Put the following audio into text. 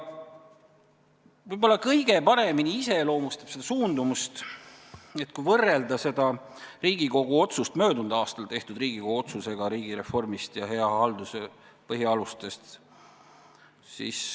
Võib-olla kõige paremini iseloomustab seda suundumust see, kui võrrelda seda Riigikogu otsust möödunud aastal tehtud Riigikogu otsusega riigireformi ja hea halduse põhialuste kohta.